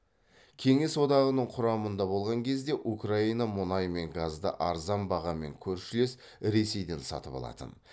кеңес одағының құрамында болған кезде украина мұнай мен газды арзан бағамен көршілес ресейден сатып алатын